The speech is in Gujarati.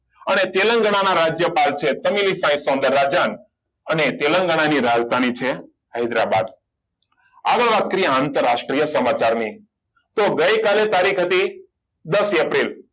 અને તેલંગાના ના રાજ્યનું રાજ્યપાલ છે અને તેલંગાણા ની રાજધાની છે હૈદરાબાદ આગળ વાત કરીએ આંતરરાષ્ટ્રીય સમાચારની તો ગઈકાલે તારીખ હતી દસ એપ્રિલ